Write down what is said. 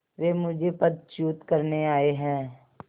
वे मुझे पदच्युत करने आये हैं